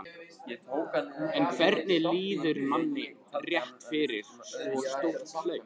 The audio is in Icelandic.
En hvernig líður manni rétt fyrir svo stórt hlaup?